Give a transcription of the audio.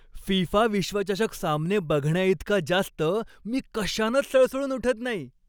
FIFA विश्वचषक सामने बघण्याइतका जास्त मी कशानंच सळसळून उठत नाही.